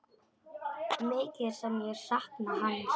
Mikið sem ég sakna hans.